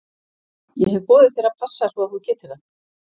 Ég hef boðið þér að passa svo að þú getir það.